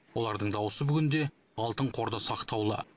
олардың дауысы бүгінде алтын қорда сақтаулы